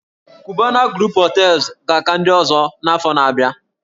"Cubana group Hotels" ga-aka ndị ọzọ n'afọ ndị na-abịa